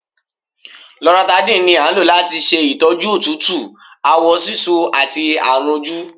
Loratadine ní a ń lò latí ṣe ìtọ́jú òtútù, àwọ sisú àti àrùn ojú.